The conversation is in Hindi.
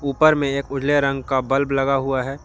ऊपर में एक उजले रंग का बल्ब लगा हुआ है।